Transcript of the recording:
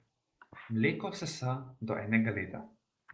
Mleko sesa do enega leta.